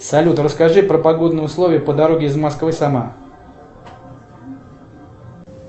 салют расскажи про погодные условия по дороге из москвы сама